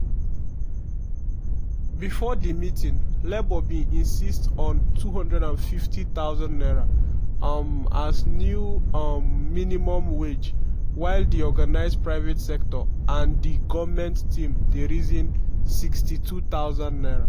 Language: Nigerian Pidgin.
bifor di meeting labour bin insist on n250000 um as new um minimum wage while di organised private sector and di goment team dey reason n62000.